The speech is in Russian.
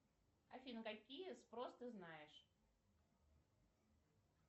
афина какие спрос ты знаешь